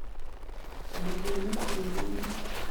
Mathĩna tĩriinĩ